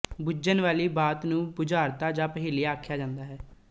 ਬੁੱਝਣ ਵਾਲੀ ਬਾਤ ਨੂੰ ਬੁਝਾਰਤ ਜਾਂ ਪਹੇਲੀ ਆਖਿਆ ਜਾਂਦਾ ਹੈ